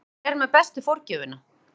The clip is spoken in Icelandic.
Hver er með bestu forgjöfina?